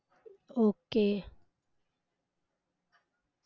okay